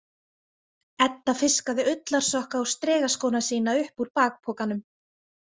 Edda fiskaði ullarsokka og strigaskóna sína upp úr bakpokanum.